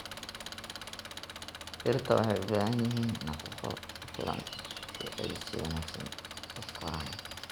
Dhirta waxay u baahan yihiin nafaqo ku filan si ay si wanaagsan u koraan.